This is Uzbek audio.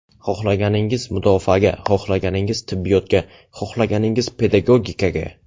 Xohlaganingiz mudofaaga, xohlaganingiz tibbiyotga, xohlaganingiz pedagogikaga.